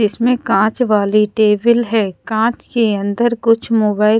इसमे काँच वाली टेबल है काँच के अंदर कुछ मोबाईल --